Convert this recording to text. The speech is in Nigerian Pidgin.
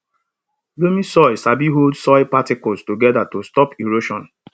loamy soil sabi hold soil particles together to stop erosion